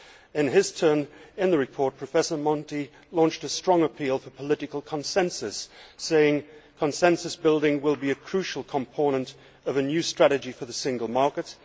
In his turn, in the report, Professor Monti launched a strong appeal for political consensus, saying that consensus building will thus be a crucial component of a new strategy for the single market.